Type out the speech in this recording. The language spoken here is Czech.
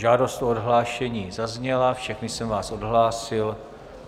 Žádost o odhlášení zazněla, všechny jsem vás odhlásil.